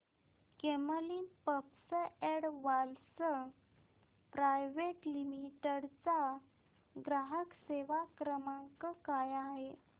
Camlin pumps and valves private limited चा ग्राहक सेवा क्रमांक काय आहे